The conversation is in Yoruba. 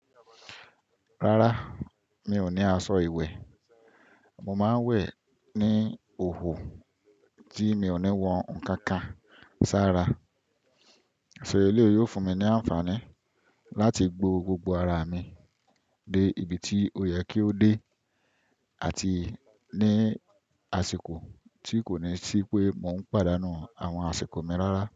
Rárá, mi ò ní aṣọ ìwẹ̀. Mo máa ń wẹ̀ ní òhòò tí mi ò ní wọn kankan ṣára. So eleyìí yóò fún mi ní àǹfààní láti gbó gbogbo ara mi dé ibi tí ó yẹ kí ó dé àti ní àsìkò tí kò ní ṣí pé mò ń pàdánù àwọn àsìkò mi rárá.